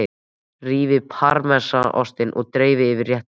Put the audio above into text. Rífið parmesanostinn og dreifið yfir réttinn.